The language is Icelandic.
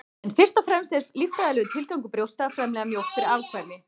en fyrst og fremst er líffræðilegur tilgangur brjósta að framleiða mjólk fyrir afkvæmi